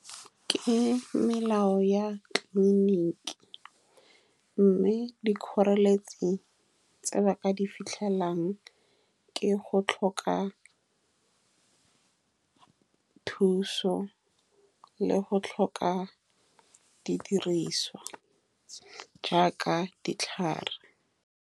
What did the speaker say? Ke melao ya tleliniking, mme dikgoreletsi tse ba ka di fitlhelang ke go tlhoka thuso le go tlhoka didiriswa jaaka ditlhare.